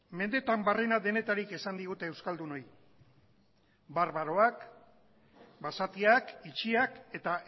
mendeetan barrena denetarik esan digute euskaldunoi barbaroak basatiak itxiak eta